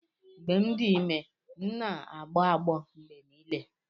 Mgbe m dị ime, m na-agbọ agbọ mgbe niile.